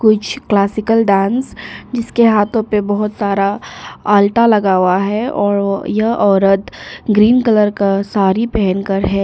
कुछ classical dance जिसके हाथों पर बहुत सारा अल्ता लगा हुआ है और यह औरत ग्रीन कलर का साड़ी पहनकर है।